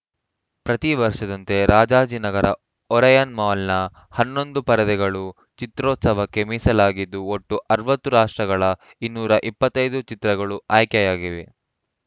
ಪ್ರತಿ ವರ್ಷದಂತೆ ರಾಜಾಜಿನಗರ ಒರಾಯನ್‌ ಮಾಲ್‌ನ ಹನ್ನೊಂದು ಪರದೆಗಳು ಚಿತ್ರೋತ್ಸವಕ್ಕೆ ಮೀಸಲಾಗಿದ್ದು ಒಟ್ಟು ಅರವತ್ತು ರಾಷ್ಟ್ರಗಳ ಇನ್ನೂರ ಇಪ್ಪತ್ತ್ ಐದು ಚಿತ್ರಗಳು ಆಯ್ಕೆಯಾಗಿವೆ